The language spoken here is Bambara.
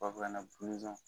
u b'a f'a ɲɛnɛ buluzɔn